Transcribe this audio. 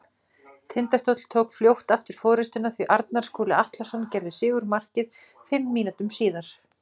Tindastóll tók fljótt aftur forystuna því Arnar Skúli Atlason gerði sigurmarkið fimm mínútum síðar.